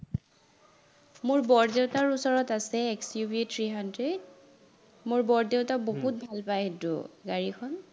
মোৰ বৰদেউতাৰ ওচৰত আছে XUV three hundred, মোৰ বৰদেউতা বহুত ভাল পায় সেইটো গাড়ীখন